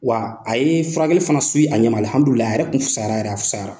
Wa a ye furakɛli fana a ɲɛn ma alhadulilahi , a yɛrɛ tun fisayara. yɛrɛ, a fisayara.